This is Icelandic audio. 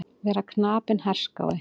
Vera knapinn herskái.